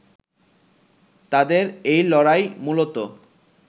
তাদের এই লড়াই মূলত